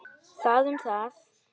Það um það.